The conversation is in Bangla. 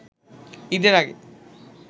ঈদের আগে